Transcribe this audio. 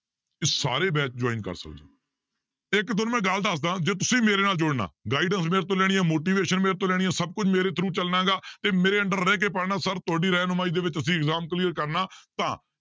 ਤੇ ਸਾਰੇ batch join ਕਰ ਸਕਦੇ ਹੋ ਇੱਕ ਤੁਹਾਨੂੰ ਮੈਂ ਗੱਲ ਦੱਸਦਾਂ ਜੇ ਤੁਸੀਂ ਮੇਰੇ ਨਾਲ ਜੁੜਨਾ guidance ਮੇਰੇ ਤੋਂ ਲੈਣੀ ਹੈ motivation ਮੇਰੇ ਤੋਂ ਲੈਣੀ ਹੈ ਸਭ ਕੁਛ ਮੇਰੇ through ਚੱਲਣਾਗਾ ਤੇ ਮੇਰੇ under ਰਹਿ ਕੇ ਪੜ੍ਹਨਾ sir ਤੁਹਾਡੀ ਰਹਿਨੁਮਾਈ ਦੇ ਵਿੱਚ ਅਸੀਂ exam clear ਕਰਨਾ ਤਾਂ